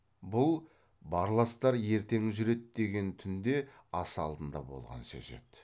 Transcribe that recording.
бұл барластар ертең жүреді деген түнде ас алдында болған сөз еді